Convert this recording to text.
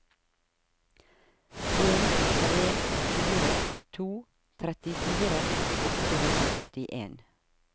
en tre fire to trettifire åtte hundre og syttien